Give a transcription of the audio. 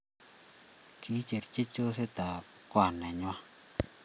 Kicherchi chosit ab kwan nenyi